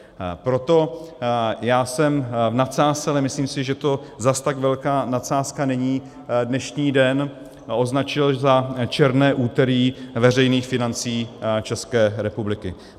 Proto já jsem v nadsázce, ale myslím si, že to zase tak velká nadsázka není, dnešní den označil za černé úterý veřejných financí České republiky.